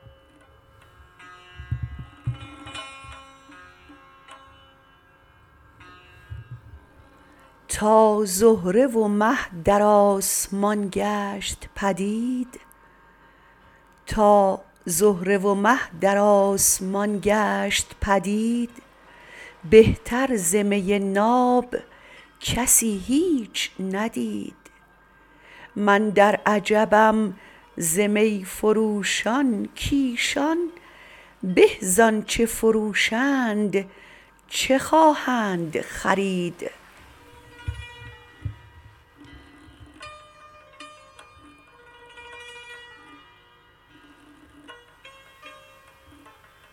تا زهره و مه در آسمان گشت پدید بهتر ز می ناب کسی هیچ ندید من در عجبم ز می فروشان کایشان به زآنچه فروشند چه خواهند خرید